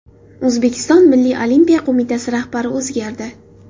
O‘zbekiston Milliy olimpiya qo‘mitasi rahbari o‘zgardi.